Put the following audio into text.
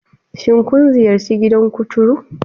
Shin kun ziyarci gidan kuturu?